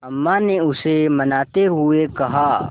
अम्मा ने उसे मनाते हुए कहा